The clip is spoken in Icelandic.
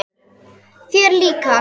Þér líka?